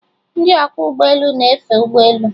Ndị ọkwọ ụgbọelu na-efe ụgbọelu